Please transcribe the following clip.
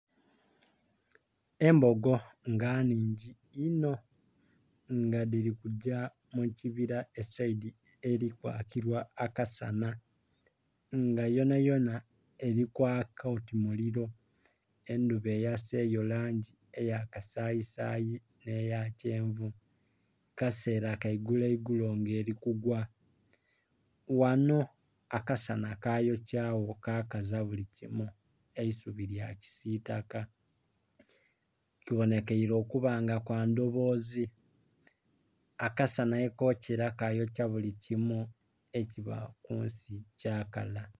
Embogo nga nnhigi inho nga dhilikugya mukibira esaidi erikwakibwa akasanha nga yona yona eri kwaka oti muliro, endhuba eyaseyo langi eya kasayi sayi nhe ya kyenvu kasera kaigulo igulo nga erikugwa, ghanho akasanha kayokyagho kakaza buli kimu eisubi lya kisitaka. Kubonhekere okuba nga kwandhobozi akasanha ghekokyera kayokya bili kimu ekiba kunsi kyakala.